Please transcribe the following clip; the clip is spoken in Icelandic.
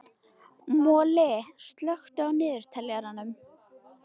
Moli, slökktu á niðurteljaranum.